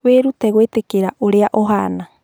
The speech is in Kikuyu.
Wĩrute gwĩtĩkĩra ũrĩa ũhaana